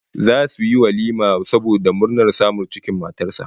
Zasu yi walima saboda murnar samun cikin matar sa